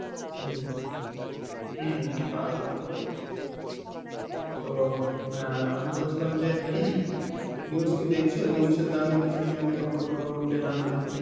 হম হম তা কিন্তু ঠিক. তো অ্যাঁ আমি বলছিলাম যে news কি দেখছো? news এতো আমি কিছুদিন আগে খবর টবর পেলাম যে